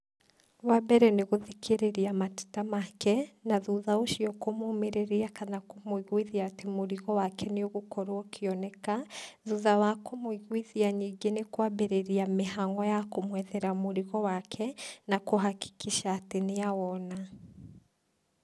Wa mbere nĩgũthikĩrĩria mateta make, na thutha ũcio kũmumĩriria kana kũmũigũithia atĩ mũrigo wake nĩũgũkorwo ũkĩoneka, thutha wa kũmũiguithia, ningĩ nĩkwambĩrĩria mĩhang'o ya kũmwethera mũrigo wake, na kũ hakikisha atĩ nĩawona.